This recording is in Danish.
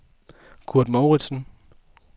Kurt Mouritsen